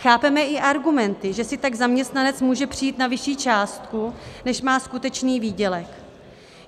Chápeme i argumenty, že si tak zaměstnanec může přijít na vyšší částku, než má skutečný výdělek.